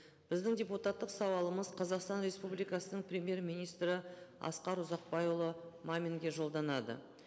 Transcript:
біздің депутаттық сауалымыз қазақстан республикасының премьер министрі асқар ұзақбайұлы маминге жолданады